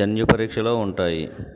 జన్యు పరీక్షలో ఉంటాయి